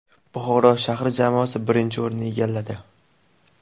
Buxoro shahri jamoasi birinchi o‘rinni egalladi.